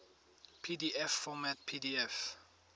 pdf format pdf